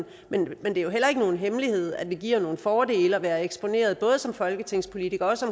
men det er jo heller ikke nogen hemmelighed at det giver nogle fordele at være eksponeret både som folketingspolitiker og også